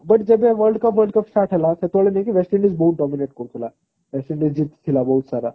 but ଯେବେ world cup start ହେଲା ସେତେବେଳେ ଯାଇକି west indies ବହୁତ dominate କରୁଥିଲା west indies ଜିତିଥିଲା ବହୁତ ସାରା